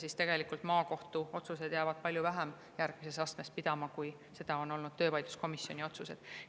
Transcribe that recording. Aga tegelikult maakohtu otsused jäävad palju vähem järgmises astmes pidama kui töövaidluskomisjoni otsused.